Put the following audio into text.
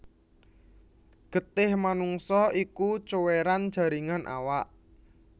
Getih manungsa iku cuwéran jaringan awak